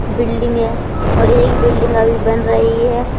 Building है और एक बिल्डिंग अभी बन रही है।